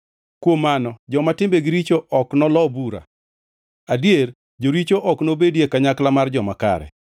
Kuom mano joma timbegi richo ok nolo bura, adier, joricho ok nobedi e kanyakla mar joma kare,